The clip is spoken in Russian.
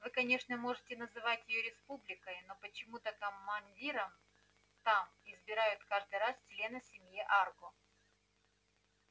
вы конечно можете называть её республикой но почему-то командиром там избирают каждый раз члена семьи арго